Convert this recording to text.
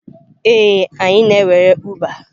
Ee, anyị na-ewere Uber.